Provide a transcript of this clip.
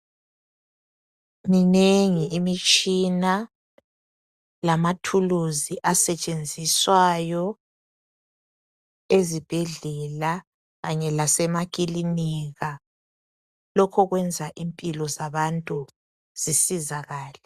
Minengi imtshina lamathuluzi asetshenziswayo ezibhedlela kanye lase makilinika lokho kwenza impilo zabantu zisizakale